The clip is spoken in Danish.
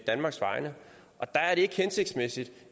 danmarks vegne der er det ikke hensigtsmæssigt